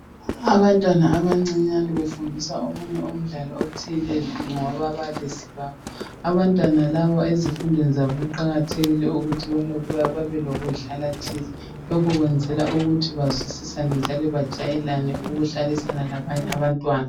Abantwana abancinyane befundiswa omunye umdlalo othile ngababalisi babo abantwana laba ezifundweni zabo kuqakathekile ukuthi balokhu belokudlala thize lokhu kwenzelwa ukuthi bazwisisane njalo bajayelane ukuhlalisana labanye abantwana